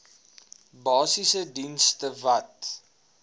basiese dienste wat